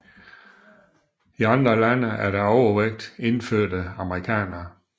I andre lande er der overvægt indfødte amerikanere